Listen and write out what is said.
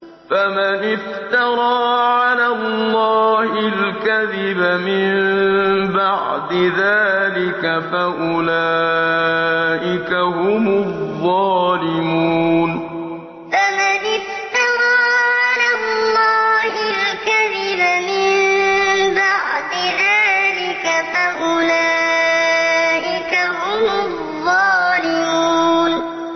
فَمَنِ افْتَرَىٰ عَلَى اللَّهِ الْكَذِبَ مِن بَعْدِ ذَٰلِكَ فَأُولَٰئِكَ هُمُ الظَّالِمُونَ فَمَنِ افْتَرَىٰ عَلَى اللَّهِ الْكَذِبَ مِن بَعْدِ ذَٰلِكَ فَأُولَٰئِكَ هُمُ الظَّالِمُونَ